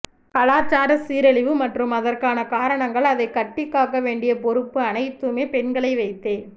கலாசார சீரழிவு மற்றும் அதற்கான காரணங்கள் அதைக் கட்டிக்காக்க வேண்டிய பொறுப்பு அனைத்துமே பெண்களை வைத்தே